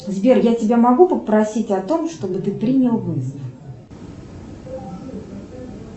сбер я тебя могу попросить о том чтобы ты принял вызов